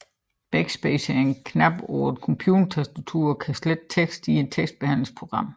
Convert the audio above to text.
Backspace er en knap på et computertastatur og kan slette tekst i et tekstbehandlingsprogram